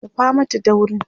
dafa Mata daurin!